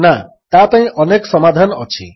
ନା ତାପାଇଁ ଅନେକ ସମାଧାନ ଅଛି